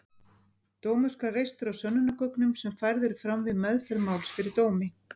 Dómur skal reistur á sönnunargögnum sem færð eru fram við meðferð máls fyrir dómi.